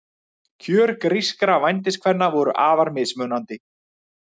Kjör grískra vændiskvenna voru afar mismunandi.